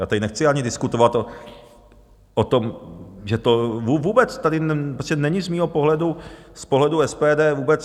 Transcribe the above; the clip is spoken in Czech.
Já tady nechci ani diskutovat o tom, že to vůbec... tady není z mého pohledu, z pohledu SPD, vůbec...